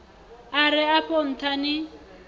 a re afho ntha ni